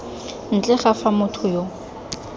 ntle ga fa motho yo